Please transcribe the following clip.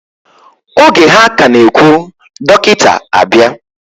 Oge ha ka na ehwu, dokita abia.